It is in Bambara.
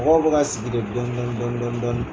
Mɔgɔw bɛ ka sigi de dɔni dɔni dɔni dɔni.